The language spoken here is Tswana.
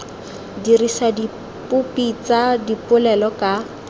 dirisa dipopi tsa dipolelo ka